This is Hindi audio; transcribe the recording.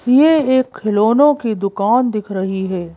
यह एक खिलौनों की दुकान दिख रही है।